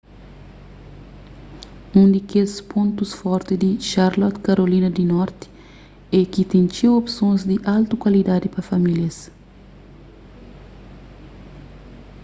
un di kes pontus forti di charlotte karolina di norti é ki ten txeu opsons di altu kualidadi pa famílias